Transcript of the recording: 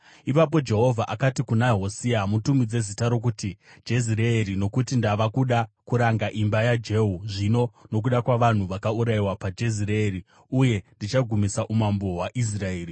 Ipapo Jehovha akati kuna Hosea, “Mutumidze zita rokuti Jezireeri, nokuti ndava kuda kuranga imba yaJehu zvino nokuda kwavanhu vakaurayiwa paJezireeri, uye ndichagumisa umambo hwaIsraeri.